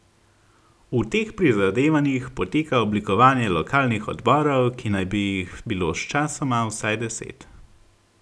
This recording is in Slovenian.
V teh prizadevanjih poteka oblikovanje lokalnih odborov, ki naj bi jih bilo sčasoma vsaj deset.